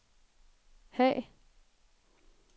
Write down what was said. Haag